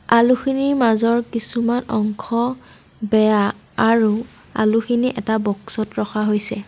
আলুখিনিৰ মাজৰ কিছুমান অংশ বেয়া আৰু আলুখিনি এটা বক্সত ৰখা হৈছে।